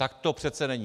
Tak to přece není.